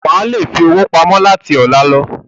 Wà á le fi owó pamọ́ láti ọ̀la lọ.